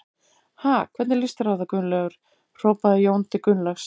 Ha, hvernig líst þér á það Gunnlaugur? hrópaði Jón til Gunnlaugs.